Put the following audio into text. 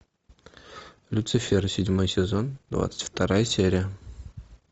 люцифер седьмой сезон двадцать вторая серия